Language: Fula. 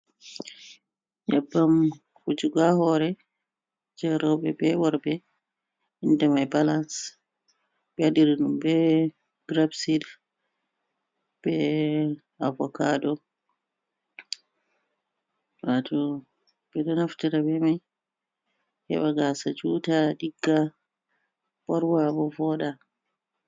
Nyebbam wujugo ha hore jei rowɓe be worɓe, inde mai balans, ɓe waɗiriɗum be grep sid be avokado. Wato, ɓe ɗo naftira be mai he ɓa gasa juta, ɗigga, ɓorwa, bo vooɗa.